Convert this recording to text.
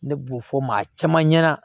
Ne b'o fɔ maa caman ɲɛna